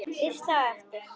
Veislan á eftir?